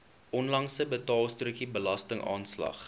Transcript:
onlangse betaalstrokie belastingaanslag